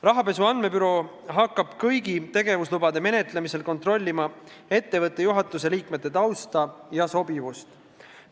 Rahapesu andmebüroo hakkab kõigi tegevuslubade menetlemisel kontrollima ettevõtte juhatuse liikmete tausta ja sobivust.